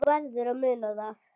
Þú verður að muna það.